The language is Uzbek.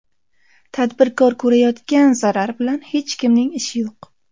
Tadbirkor ko‘rayotgan zarar bilan hech kimning ishi yo‘q.